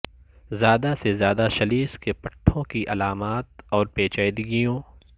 زیادہ سے زیادہ سلیش کے پٹھوں کی علامات اور پیچیدگیوں